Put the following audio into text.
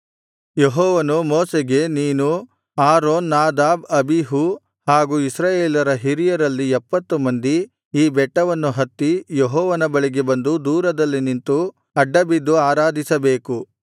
ಯೆಹೋವನು ಮೋಶೆಗೆ ನೀನು ಆರೋನ್ ನಾದಾಬ್ ಅಬೀಹೂ ಹಾಗೂ ಇಸ್ರಾಯೇಲರ ಹಿರಿಯರಲ್ಲಿ ಎಪ್ಪತ್ತು ಮಂದಿ ಈ ಬೆಟ್ಟವನ್ನು ಹತ್ತಿ ಯೆಹೋವನ ಬಳಿಗೆ ಬಂದು ದೂರದಲ್ಲಿ ನಿಂತು ಅಡ್ಡಬಿದ್ದು ಆರಾಧಿಸಬೇಕು